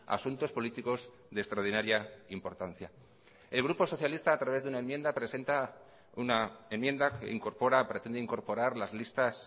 asuntos políticos de extraordinaria importancia el grupo socialista a través de una enmienda presenta una enmienda que incorpora pretende incorporar las listas